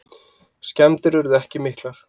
Skemmdir urðu ekki miklar.